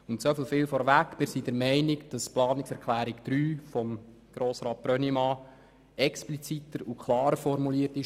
Soviel vorweg: Wir sind der Meinung, dass die Planungserklärung 3 von Grossrat Brönnimann expliziter und klarer formuliert ist.